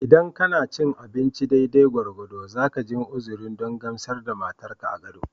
Idan kina cin abinci daidai gwargwado, zaka jin uzuri don gamsar da matar ka a gado